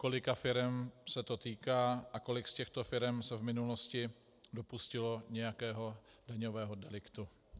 Kolika firem se to týká a kolik z těchto firem se v minulosti dopustilo nějakého daňového deliktu?